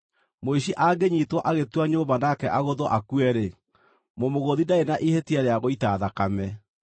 “Mũici angĩnyiitwo agĩtua nyũmba nake agũthwo akue-rĩ, mũmũgũthi ndarĩ na ihĩtia rĩa gũita thakame;